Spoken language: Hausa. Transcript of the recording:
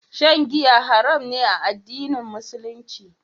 Shan giya haram ne a addinin Musulunci.